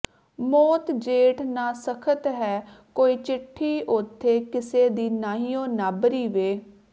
ਮੌਤ ਜੇਡ ਨਾ ਸਖਤ ਹੈ ਕੋਈ ਚਿੱਠੀ ਓਥੇ ਕਿਸੇ ਦੀ ਨਾਹੀਉਂ ਨਾਬਰੀ ਵੇ